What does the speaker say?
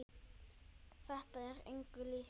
Þetta er engu líkt.